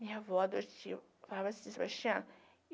Minha avó adotiva falava assim, sebastiana